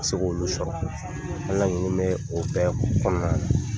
Ka se k'olu sɔrɔ ala ninnu bɛɛ b'o kɔnɔna na.